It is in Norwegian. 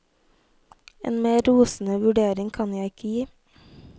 En mer rosende vurdering kan jeg ikke gi.